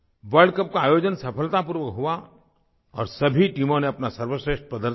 world cup का आयोजन सफलतापूर्वक हुआ और सभी टीमों ने अपना सर्वश्रेष्ठ प्रदर्शन किया